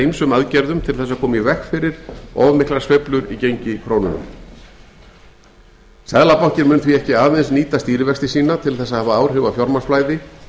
ýmsum aðgerðum til þess að koma í veg fyrir of miklar sveiflur í gengi krónunnar seðlabankinn mun því ekki aðeins nýta stýrivexti sína til þess að hafa áhrif á fjármagnsflæði